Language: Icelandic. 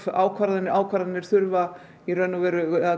ákvarðanir ákvarðanir